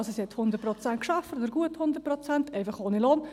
Sie arbeitete also 100 Prozent, oder gut 100 Prozent, einfach ohne Lohn.